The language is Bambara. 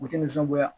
U tɛ nisɔngoya